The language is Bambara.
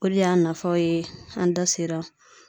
Olu y'a nafaw ye an da sera